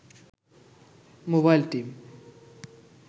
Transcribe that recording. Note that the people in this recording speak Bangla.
mobile team